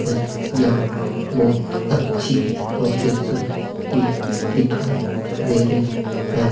है यहां बहोत अच्छी लोकेशन भी दिखाई दे रही है।